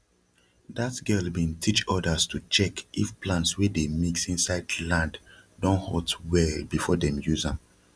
dat girl bin teach odas to check if plants wey dey mix insid land don hot well before dem use am